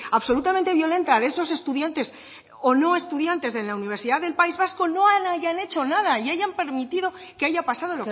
absolutamente violenta de esos estudiantes o no estudiantes de la universidad del país vasco no hayan hecho nada y hayan permitido que haya pasado